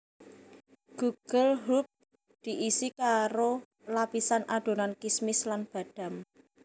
Gugelhupf diisi karo lapisan adonan kismis lan badam